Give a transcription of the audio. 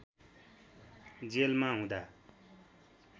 जेलमा हुँदा